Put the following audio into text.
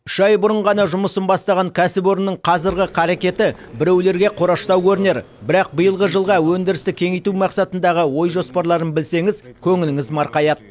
үш ай бұрын ғана жұмысын бастаған кәсіпорынның қазіргі қарекеті біреулерге қораштау көрінер бірақ биылғы жылға өндірісті кеңейту мақсатындағы ой жоспарларын білсеңіз көңіліңіз марқаяды